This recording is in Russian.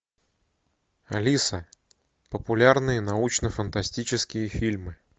алиса популярные научно фантастические фильмы